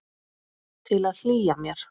Til að hlýja mér.